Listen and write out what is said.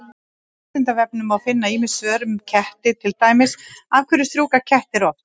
Á Vísindavefnum má finna ýmis svör um ketti, til dæmis: Af hverju strjúka kettir oft?